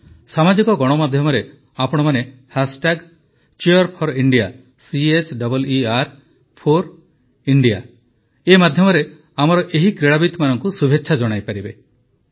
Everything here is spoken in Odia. ସାମାଜିକ ଗଣମାଧ୍ୟମରେ ଆପଣମାନେ Cheer4India ମାଧ୍ୟମରେ ଆମର ଏହି କ୍ରୀଡ଼ାବିତମାନଙ୍କୁ ଶୁଭେଚ୍ଛା ଜଣାଇପାରିବେ